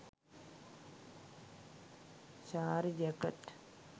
saree jacket